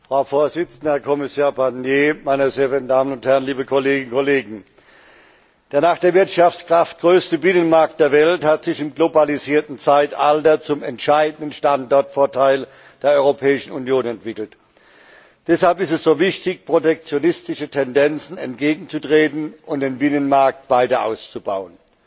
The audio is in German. Frau Präsidentin, Herr Kommissar Barnier, meine sehr verehrten Damen und Herren, liebe Kolleginnen und Kollegen! Der nach der Wirtschaftskraft größte Binnenmarkt der Welt hat sich im globalisierten Zeitalter zum entscheidenden Standortvorteil der Europäischen Union entwickelt. Deshalb ist es so wichtig, protektionistischen Tendenzen entgegenzutreten und den Binnenmarkt weiter auszubauen.